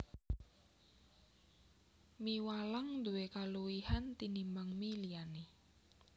Mie walang nduwé kaluwihan tinimbang mie liyané